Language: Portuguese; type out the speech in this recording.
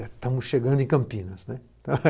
Estamos chegando em Campinas né.